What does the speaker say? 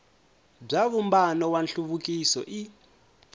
bya vumbano wa nhluvukiso i